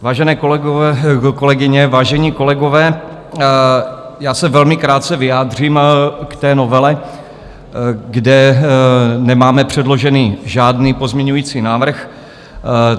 Vážené kolegyně, vážení kolegové, já se velmi krátce vyjádřím k té novele, kde nemáme předložený žádný pozměňovací návrh.